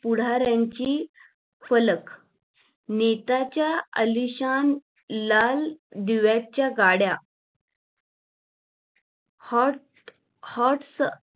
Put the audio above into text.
पुढाऱ्यांचे फलक नेत्यांचा आलिशान लाल दिव्याच्या गाड्या hotshots